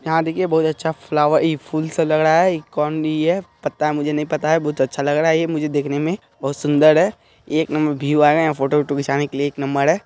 यहाँ देखिए बहुत अच्छा फ्लॉवर ई फूल सब लग रहा है ई कौन ई है पता है मुझे नहीं पता है बहुत अच्छा लग रहा है| मुझे देखने में बहुत सुंदर है एक नंबर व्यू आएगा | यहाँ फोटो - ऑटो खिचाने के लिए एक नंबर है।